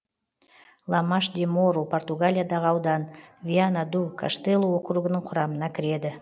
ламаш де мору португалиядағы аудан виана ду каштелу округінің құрамына кіреді